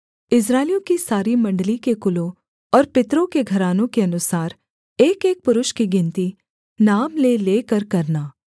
इस्राएलियों की सारी मण्डली के कुलों और पितरों के घरानों के अनुसार एकएक पुरुष की गिनती नाम ले लेकर करना